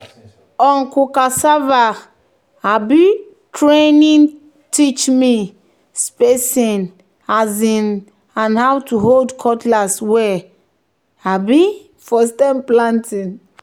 "uncle cassava um training teach me spacing um and how to hold cutlass well um for stem planting."